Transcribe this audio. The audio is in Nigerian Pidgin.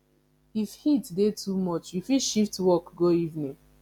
if heat dey too much you fit shift work go evening